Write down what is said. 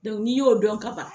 n'i y'o dɔn ka ban.